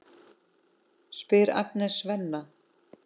spyr Agnes Svenna.